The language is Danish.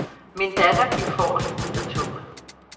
Min datter gik forrest ud af toget.